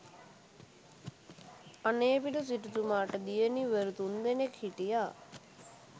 අනේපිඬු සිටුතුමාට දියණිවරු තුන් දෙනෙක් හිටියා.